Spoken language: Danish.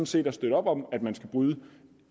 set at støtte op om at man skal bryde